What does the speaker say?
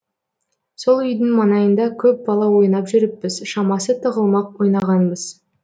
сол үйдің маңайында көп бала ойнап жүріппіз шамасы тығылмақ ойнағанбыз